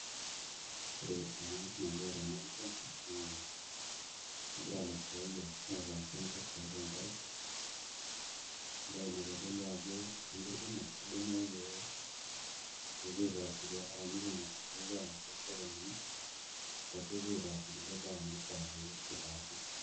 Ore ena nalio tenap pisha naa egira ilasiayiak aitayu isinkirr tiatua enkare. Embae naitodolu ajo isinkirr kumok kidimayu pee epuo aitaas ibiasharani kumok nepuo amir toosokonini ashu epuo aitaas kulie baa ake naitaasi.